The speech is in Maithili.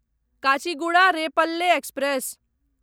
काचीगुडा रेपल्ले एक्सप्रेस